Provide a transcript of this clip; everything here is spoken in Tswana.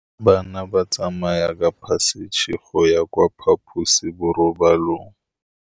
Bana ba tsamaya ka phašitshe go ya kwa phaposiborobalong.